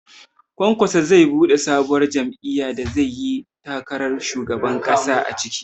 Kwankwaso zai buɗe sabuwar jam'iyyar da zai yi takarar shugaban ƙasa a ciki